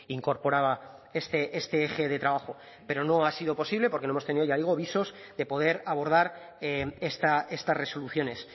incorporaba este eje de trabajo pero no ha sido posible porque no hemos ya digo visos de poder abordar estas resoluciones